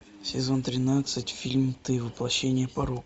сезон тринадцать фильм ты воплощение порока